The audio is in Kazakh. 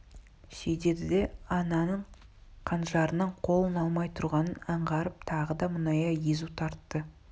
сөйдеді де ананың қанжарынан қолын алмай тұрғанын аңғарып тағы да мұңая езу тартты